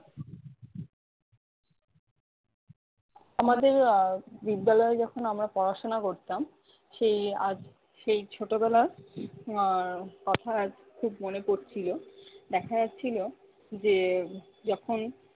আমাদের আহ বিদ্যালয় যখন আমরা পড়াশোনা করতাম সেই আজ সেই ছোটবেলা আহ কথা ঠিক মনে পড়ছিল। দেখা যাচ্ছিলো যে যখন